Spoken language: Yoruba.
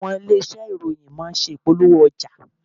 Àwọn ilé-iṣé ìròyìn má ń ṣe ìpolówó ọjà.